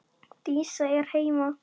Dísa er heima!